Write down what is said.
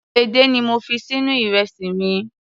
Edé ni mo fi sínú ìrẹsì mi.